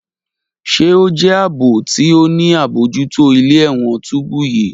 Ṣe o jẹ aabo ti o ni abojuto ile-ẹwọn tubu yii?